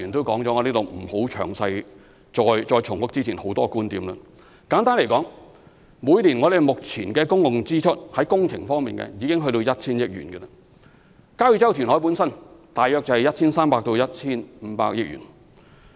簡單來說，目前我們每年在工程方面的公共支出已達 1,000 億元，而交椅洲填海的費用大約為 1,300 億至 1,500 億元。